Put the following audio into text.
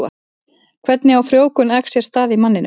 Hvernig á frjóvgun eggs sér stað í manninum?